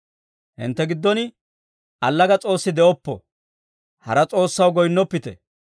Hintte giddon allaga s'oossi de'oppo; hara s'oossaw goyinnoppite.